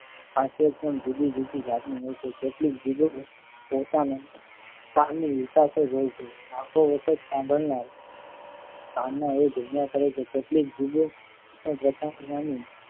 આશેદ પણ જુદી જુદી જાત ની હોય છે. કેટલીક હોય છે. વખતો વખત સાભણનાર કાનના ધુમીયા કરે છે કેટલીક જુદો વિનાની